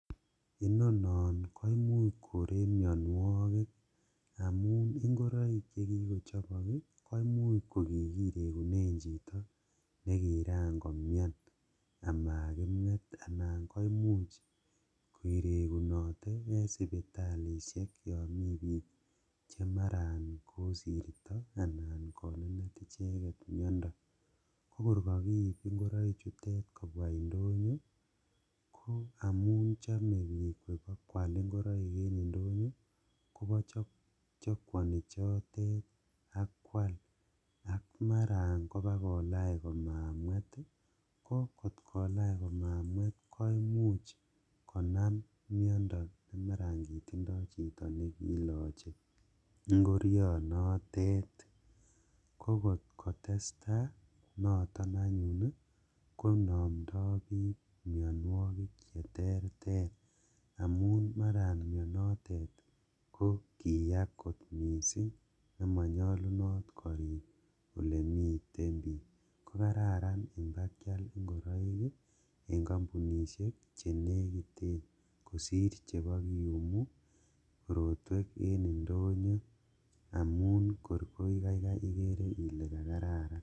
Inono koimuch koree mionuokik amun ingoroik chekikochobok ii koimuch kokikirekunen chito nekiran komian amakimwet anan koimuch kirekunote en sipitalishek yon mi bik chemaran kosirto anan konenet icheket mionuokik, kokor kokiib ingoroichutete kobwaa indonyo ko amun chome bik kobakwal ingoroik en indonyo kobo chokwoni chotet ak kwal ak maran kobakolach komamwet ii, kokotkolach komamwet koimuch konam miondo nekitindo chito nekiloche ingorionotet, kokotkotestaa noton anyun koinomdo bik mionuokik cheterter amun mara mionotet kokitaa kot missing' amonyolunot korik olemiten bik kokararan ingobakial ingoroik en kampunishek chenegiten kosir chebokiyumu korotwek en indonyo amun kor kokaikai ikere ile kokararan.